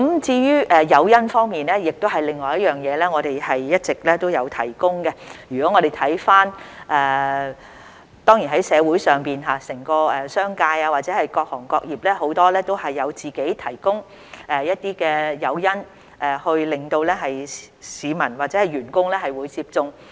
在誘因方面，我們一直也有提供，當然，在社會上，整個商界或各行各業很多也自行提供一些誘因，鼓勵市民或員工接種。